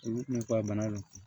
Olu ka bana ninnu